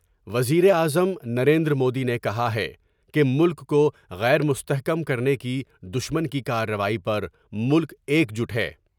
وزیر اعظم نریندرمودی نے کہا ہے کہ ملک کو غیر مستحکم کرنے کی دشمن کی کارروائی پر ملک ایک جٹ ہے ۔